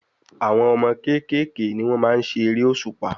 Àwọn ọmọ kékèké ni wọ́n maá n ṣe eré òṣùpá